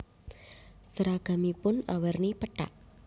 Seragamipun awerni pethak